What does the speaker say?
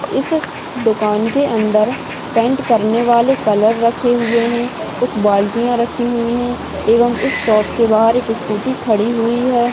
इस दुकान के अंदर पैंट करनेवाले कलर रखे हुए है कुछ बाल्टिया रखे हुए है एवम इस शॉप के बाहर स्कूटी खड़ी हुई है।